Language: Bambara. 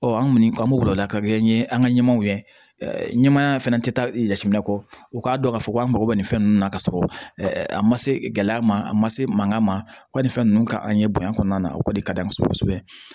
Ɔ an kɔni an b'o bila o la ka kɛɲɛ an ka ɲɛmɔw ɲɛ ɛ ɲɛmaaya fana tɛ taa jateminɛ kɔ u k'a dɔn k'a fɔ ko an mago bɛ nin fɛn ninnu na k'a sɔrɔ a ma se gɛlɛya ma a ma se mankan ma wa nin fɛn ninnu ka an ye bonya kɔnɔna na o kɔni ka d'an kosɛbɛ kosɛbɛ